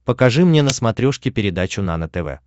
покажи мне на смотрешке передачу нано тв